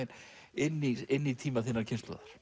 inn í inn í tíma þinnar kynslóðar